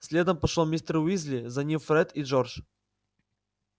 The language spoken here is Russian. следом пошёл мистер уизли за ним фред и джордж